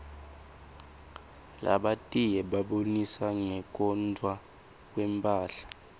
labatiye babonisa ngekwotntwa kwetmphahla